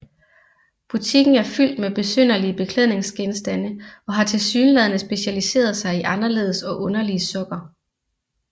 Butikken er fyldt med besynderlige beklædningsgenstande og har tilsyneladende specialiseret sig i anderledes og underlige sokker